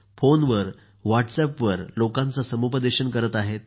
फोनवर किंवा व्हॉट्सअपवर लोकांचे समुपदेशन करत आहेत